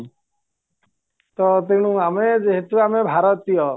ତ ତେଣୁ ଆମେ ଯେହେତୁ ଆମେ ଭାରତୀୟ